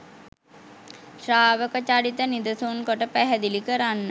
ශ්‍රාවක චරිත නිදසුන් කොට පැහැදිලි කරන්න.